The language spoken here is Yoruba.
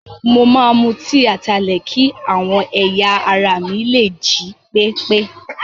Mo máa mu tíì ataalẹ̀ kí àwọn ẹ̀yà ara mi lè jí pépé.